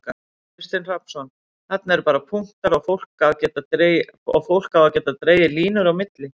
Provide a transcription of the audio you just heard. Kristinn Hrafnsson: Þarna eru bara punktar og fólk á að geta dregið línur á milli?